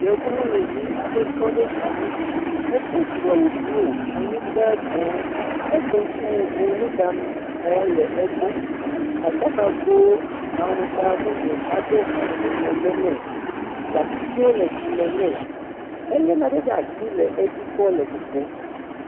yevu nyɔnuvi aɖe tɔɖe anyi edó tsilewu blu anyigbã dzɛ̃ egbe nukuʋuʋu nuɖa mɔ le egbɔ aɖaka gó aŋgba mumu aɖe hã le megbe nɛ, gatsitsiwo le dzime nɛ ele naɖe ɖeasi le édzi kpɔ le kokoó